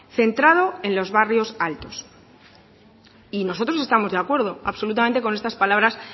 centrado en los barrios altos y nosotros estamos de acuerdo absolutamente con estas palabras